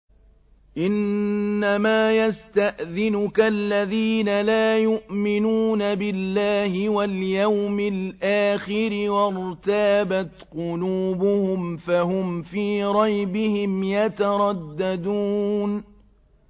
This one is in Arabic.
إِنَّمَا يَسْتَأْذِنُكَ الَّذِينَ لَا يُؤْمِنُونَ بِاللَّهِ وَالْيَوْمِ الْآخِرِ وَارْتَابَتْ قُلُوبُهُمْ فَهُمْ فِي رَيْبِهِمْ يَتَرَدَّدُونَ